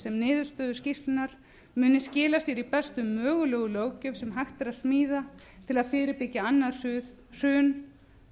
niðurstöður skýrslunnar muni skila sér í bestu mögulegu löggjöf sem hægt er að smíða til að fyrirbyggja annað hrun